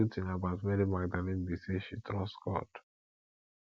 the good thing about mary magdalene be say she trust god